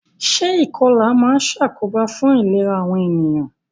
Se ìkolà ma n sàkóbá fun ìlera àwon ènìyàn